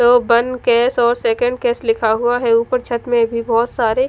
तो one case और second case लिखा हुआ है ऊपर छत में भी बहुत सारे--